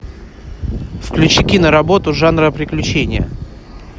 включи киноработу жанра приключения